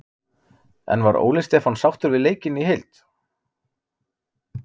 En var Óli Stefán sáttur við leikinn í heild?